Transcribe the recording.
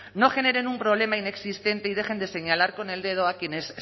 no generen un problema inexistente y dejen de señalar con el dedo a quienes